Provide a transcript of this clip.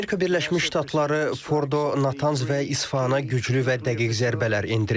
Amerika Birləşmiş Ştatları Fordo, Natanz və İsfahana güclü və dəqiq zərbələr endirib.